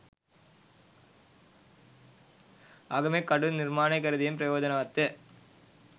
ආගමික කටයුතු නිර්මාණය කරදීම ප්‍රයෝජනවත්ය.